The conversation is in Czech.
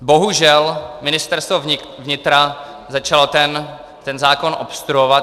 Bohužel Ministerstvo vnitra začalo ten zákon obstruovat.